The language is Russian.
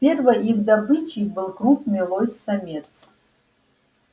первой их добычей был крупный лось самец